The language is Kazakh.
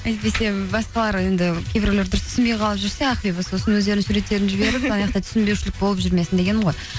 әйтпесе басқалар енді кейбіреулер дұрыс түсінбей қалып жүрсе ақбибі сосын өздерінің суреттерін жіберіп мынаяқта түсінбеушілік болып жүрмесін дегенім ғой